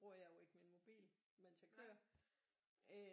Bruger jeg jo ikke min mobil imens jeg kører